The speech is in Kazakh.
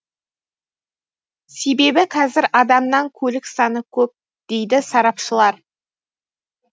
себебі қазір адамнан көлік саны көп дейді сарапшылар